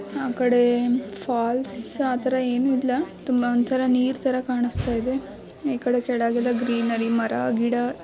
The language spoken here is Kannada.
ಆ ಕಡೆ ಫಾಲ್ಸ್ ಆತರ ಏನೂ ಇಲ್ಲ ತುಂಬಾ ಒಂಥರಾ ನೀರ್ತರ ಕಾಣುಸ್ತಾ ಇದೆ ಈ ಕಡೆ ಕೆಳಗೆಲ್ಲ ಗ್ರೀನರಿ ಮರ ಗಿಡ --